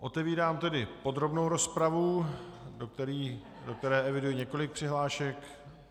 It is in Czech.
Otevírám tedy podrobnou rozpravu, do které eviduji několik přihlášek.